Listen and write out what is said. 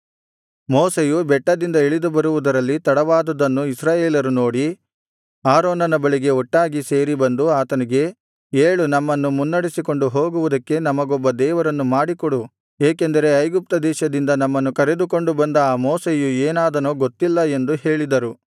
ಮೋಶೆಯು ಬೆಟ್ಟದಿಂದ ಇಳಿದು ಬರುವುದರಲ್ಲಿ ತಡವಾದುದನ್ನು ಇಸ್ರಾಯೇಲರು ನೋಡಿ ಆರೋನನ ಬಳಿಗೆ ಒಟ್ಟಾಗಿ ಸೇರಿ ಬಂದು ಆತನಿಗೆ ಏಳು ನಮ್ಮನ್ನು ಮುನ್ನಡೆಸಿಕೊಂಡು ಹೋಗುವುದಕ್ಕೆ ನಮಗೊಬ್ಬ ದೇವರನ್ನು ಮಾಡಿಕೊಡು ಏಕೆಂದರೆ ಐಗುಪ್ತದೇಶದಿಂದ ನಮ್ಮನ್ನು ಕರೆದುಕೊಂಡು ಬಂದ ಆ ಮೋಶೆಯು ಏನಾದನೋ ಗೊತ್ತಿಲ್ಲ ಎಂದು ಹೇಳಿದರು